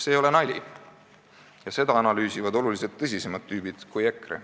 See ei ole nali, ja seda analüüsivad oluliselt tõsisemad tüübid kui EKRE.